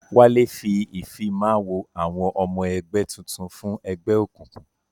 Wálé ṣe Ìfimáwo àwọn ọmọ ẹgbẹ́ tuntun fún ẹgbẹ́ ẹgbẹ́ òkùnkùn